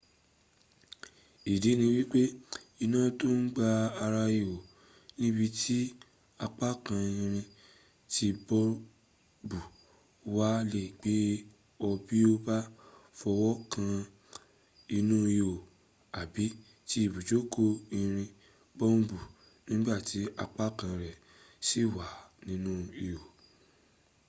ìdí ni wípé iná tó ń gba ara ihò níbi tí apákan irin tí bọ́ọ̀bù wà le gbé ọ bí o bá fọwọ́ kan inú ihò àbí ti ibùjókòó irin bọ́ọ̀bù nígbàtí apákan rẹ̀ sì wà nínú ihò